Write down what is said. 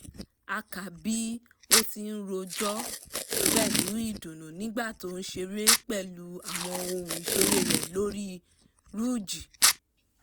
a ká bí ó ti ń ròjọ́ pẹ̀lú ìdùnnú nígbà tó ń ṣeré pẹ̀lú àwọn ohun ìṣeré rẹ̀ lórí rúújì